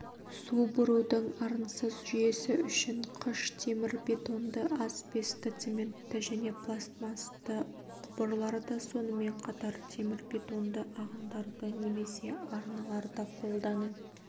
су бұрудың арынсыз жүйесі үшін қыш темірбетонды асбестоцементті және пластмастты құбырларды сонымен қатар темірбетонды ағындарды немесе арналарды қолдану